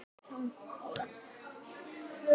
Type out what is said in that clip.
Fögur tónlist flutt.